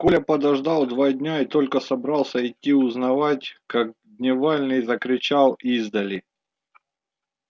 коля подождал два дня и только собрался идти узнавать как дневальный закричал издали